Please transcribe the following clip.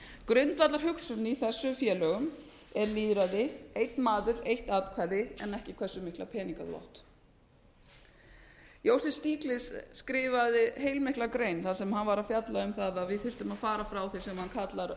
grundvallarhugsunin í þessum félögum er lýðræði einn maður eitt atkvæði en ekki hversu mikið peninga þú átt joseph stiglitz skrifaði heilmikla grein þegar hann var að fjalla um það að við þyrftum að fara frá þessum sem hann kallar